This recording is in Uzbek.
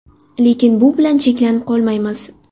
Lekin bu bilan cheklanib qolmaymiz.